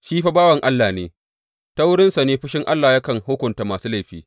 Shi fa bawan Allah ne, ta wurinsa ne fushin Allah yakan hukunta masu laifi.